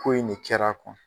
Ko in de kɛla